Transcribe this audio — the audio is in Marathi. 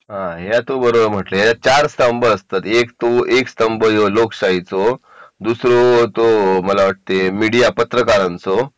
हा आहे तो बरोबर म्हणली हे चार एक स्तंभ जो लोकशाहीचा दुसरो तो मीडिया पत्रकारांचो